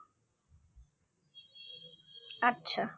আচ্ছা